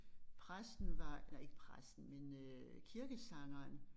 Præsten var nej ikke præsten men øh kirkesangeren